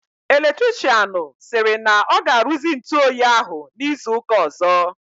Electrichịanụ sịrị na ọ ga-aruzi ntụ oyi ahụ n'izu ụka ọzọ.